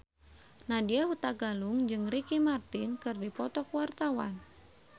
Nadya Hutagalung jeung Ricky Martin keur dipoto ku wartawan